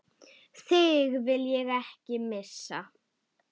Þig vil ég ekki missa.